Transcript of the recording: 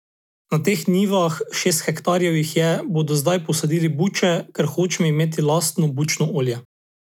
Na teh njivah, šest hektarjev jih je, bomo zdaj posadili buče, ker hočem imeti lastno bučno olje.